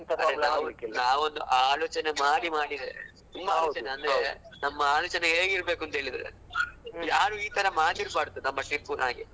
ಅಲ್ಲ ಅಲ್ಲ ನಾವ್ ಒಂದು ಆಲೋಚನೆ ಮಾಡಿ ಮಾಡಿದ್ರೆ ನಮ್ಮ ಆಲೋಚನೆ ಹೇಗ್ ಇರಬೇಕಂದ್ರೆ ಯಾರು ಇತರ ಮಾಡಿರಬಾರ್ದು ನಮ್ಮ trip ನ ಹಾಗೆ.